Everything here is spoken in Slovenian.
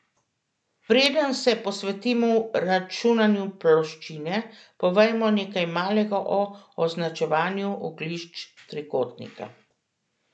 Preden se posvetimo računanju ploščine, povejmo nekaj malega o označevanju oglišč trikotnika.